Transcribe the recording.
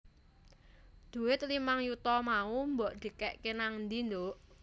Dhuwit limang yuta mau mbok dhekek nangdi nduk